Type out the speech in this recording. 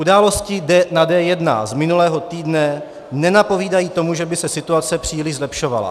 Události na D1 z minulého týdne nenapovídají tomu, že by se situace příliš zlepšovala.